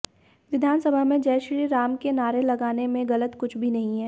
विधानसभा में जय श्री राम के नारे लगाने में गलत कुछ भी नहीं है